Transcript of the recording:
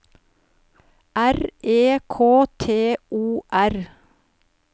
R E K T O R